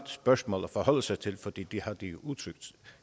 spørgsmål at forholde sig til for det har de